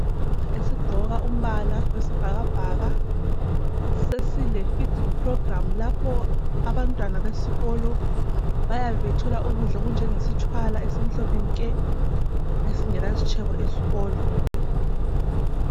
Esigqoka umbala wesibhakabhaka sesile "feeding programme" lapho abantwana besikolo bayabe bethola ukudla okunjengesitshwala esimhlophe nke esingela sitshebo esikolo.